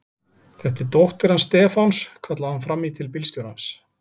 Þetta er dóttir hans Stefáns! kallaði hún fram í til bílstjórans.